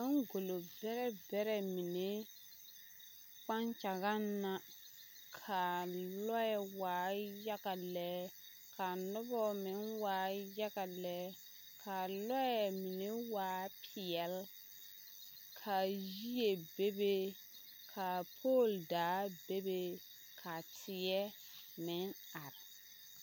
Baŋgolo bɛrɛ bɛrɛ mine kpakyagaŋ la ka lɔɛ waa yaga lɛ ka noba meŋ waa yaga lɛ ka a lɔɛ meŋ waa peɛlle ka yie bebe ka pool daa bebe ka teɛ meŋ are.